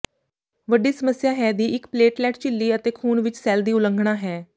ਵੱਡੀ ਸਮੱਸਿਆ ਹੈ ਦੀ ਇੱਕ ਪਲੇਟਲੈਟ ਝਿੱਲੀ ਅਤੇ ਖੂਨ ਵਿਚ ਸੈੱਲ ਦੀ ਉਲੰਘਣਾ ਹੈ